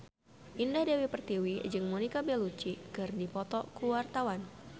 Indah Dewi Pertiwi jeung Monica Belluci keur dipoto ku wartawan